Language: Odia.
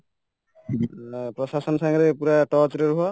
ପ୍ରଶାସନ ସାଙ୍ଗରେ ପୁରା touch ରେ ରୁହ